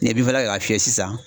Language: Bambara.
N'i ye binfakala kɛ k'a fiyɛ sisan